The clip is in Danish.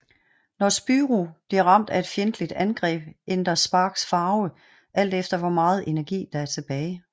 Når Spyro bliver ramt af et fjendtligt angreb ændrer Sparx farve alt efter hvor meget energi der er tilbage